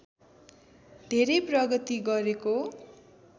धेरै प्रगति गरेको